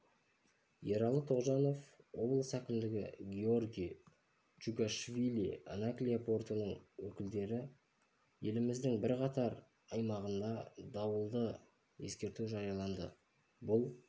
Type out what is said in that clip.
ералы тоғжанов облыс әкімі гиорги чугошвили анаклия портының өкілі еліміздің бірқатар аймағында дауілды ескерту жарияланды бұл